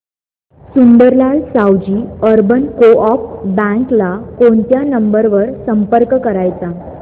Sundarlal Savji urban co-op bank ला कोणत्या number वर संपर्क करायचा